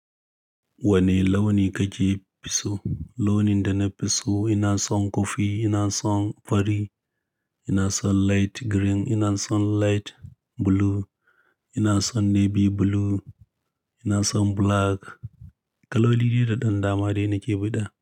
Wane launi ka ji fi so? Launin da na fi so ina son kofi, ina son fari, ina son light green, ina son light blue, ina son navy blue, ina son black. Kaloli dai da ɗan dama dai nake biɗa.